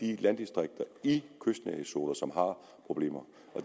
de landdistrikter i kystnærhedszoner som har problemer